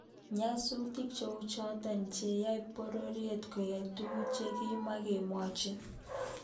Nyasutik cheuchoto cheyaei bororiet koyai tuguuk chekimakibwotchin